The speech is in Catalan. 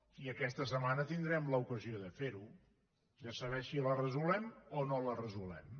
i aquesta setmana tindrem l’ocasió de ferho de saber si la resolem o no la resolem